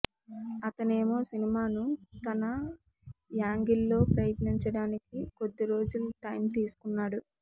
అతనేమో సినిమాను తన యాంగిల్ లో ప్రయత్నించడానికి కొద్దిరోజులు టైం తీసుకున్నాడు